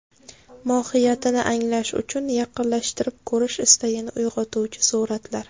Mohiyatini anglash uchun yaqinlashtirib ko‘rish istagini uyg‘otuvchi suratlar.